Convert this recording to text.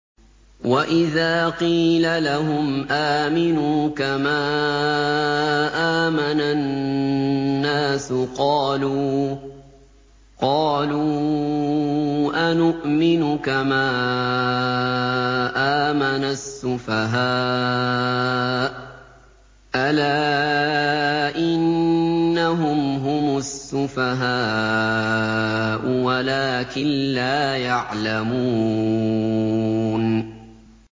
وَإِذَا قِيلَ لَهُمْ آمِنُوا كَمَا آمَنَ النَّاسُ قَالُوا أَنُؤْمِنُ كَمَا آمَنَ السُّفَهَاءُ ۗ أَلَا إِنَّهُمْ هُمُ السُّفَهَاءُ وَلَٰكِن لَّا يَعْلَمُونَ